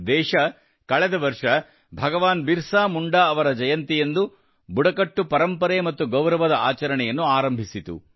ದೇಶವು ಕಳೆದ ವರ್ಷ ಭಗವಾನ್ ಬಿರ್ಸಾ ಮುಂಡಾ ಅವರ ಜನ್ಮ ಜಯಂತಿಯಂದು ಬುಡಕಟ್ಟು ಪರಂಪರೆ ಮತ್ತು ಗೌರವದ ಆಚರಣೆಯನ್ನು ಆರಂಭಿಸಿತು